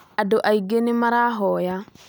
Andũ aingĩ nĩmarahoya